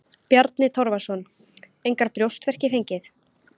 Bjarni Torfason: Engar brjóstverki fengið?